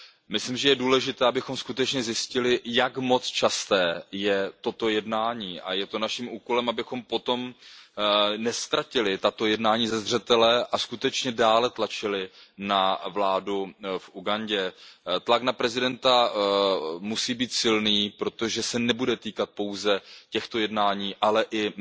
Myslím, že je důležité, abychom skutečně zjistili, jak moc časté je toto jednání, a je to naším úkolem, abychom po tom neztratili tato jednání ze zřetele a dále tlačili na vládu v Ugandě. Tlak na prezidenta musí být silný, protože se nebude týkat pouze těchto jednání, ale i